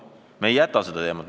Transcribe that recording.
Me ei jäta seda teemat.